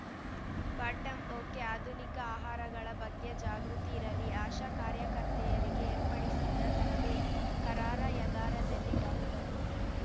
bottom okay ಆಧುನಿಕ ಆಹಾರಗಳ ಬಗ್ಗೆ ಜಾಗೃತಿ ಇರಲಿ ಆಶಾ ಕಾರ್ಯಕರ್ತೆಯರಿಗೆ ಏರ್ಪಡಿಸಿದ್ದ ತರಬೇತಿ ಕಾರಾರ‍ಯಗಾರದಲ್ಲಿ ಡಾಕ್ಟರ್